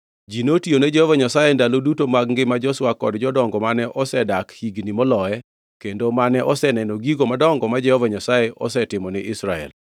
Ji notiyone Jehova Nyasaye e ndalo duto mag ngima Joshua kod jodongo mane osedak higni moloye kendo mane oseneno gigo madongo ma Jehova Nyasaye osetimo ni Israel.